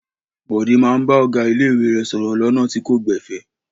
Bọ̀dé máa bá ọ̀gá ilé-ìwé rẹ̀ sọ̀rọ̀ lọ́nà tí kò gbẹ̀fẹ̀.